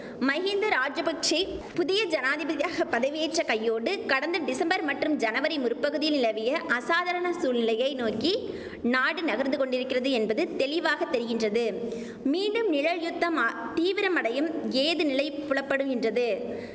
மஹிந்த ராஜபக்ஷெ புதிய ஜனாதிபதியாக பதவியேற்ற கையோடு கடந்த டிசம்பர் மற்றும் ஜனவரி முற்பகுதியில் நிலவிய அசாதாரண சூழ்நிலையை நோக்கி நாடு நகர்ந்து கொண்டிருக்கிறது என்பது தெளிவாத் தெரிகின்றது மீண்டும் நிழல் யுத்தம் ஆ தீவிரமடையும் ஏதுநிலை புலப்படுகின்றது